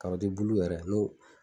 bulu yɛrɛ n'o.